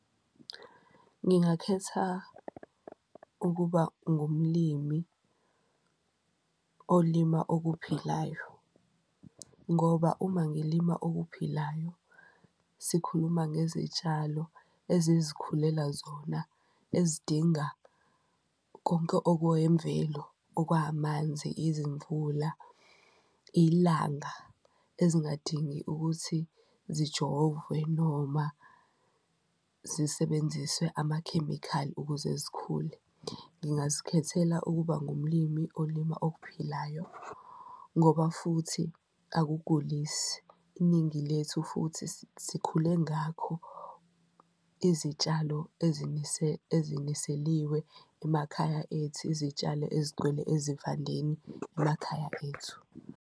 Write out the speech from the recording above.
Ngingakhetha ukuba ngumlimi olima okuphilayo ngoba uma ngilima okuphilayo sikhuluma ngezitshalo ezizikhulela zona, nezidinga konke okuwemvelo, okwamanzi, izimvula, ilanga ezingadingi ukuthi zijovwe noma zisebenziswe amakhemikhali ukuze zikhule. Ngingazikhethela ukuba ngumlimi olima okuphilayo ngoba futhi akugulisi iningi lethu futhi sikhule ngakho izitshalo eziniseliwe emakhaya ethu, izitshalo ezigcwele ezivandeni emakhaya ethu.